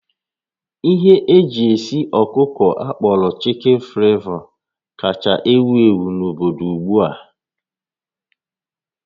Ihe eji esi ọkụkọ akpọrọ Chicken flavor kacha ewu ewu n'obodo ugbu a